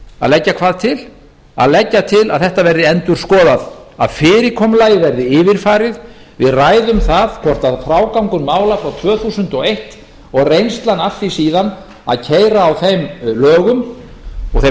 að leggja hvað til að leggja til að þetta verði endurskoðað að fyrirkomulagið verði yfirfarið við ræðum það hvort frágangur mála frá tvö þúsund og eins og reynslan af því síðan að keyra á þeim lögum og þeim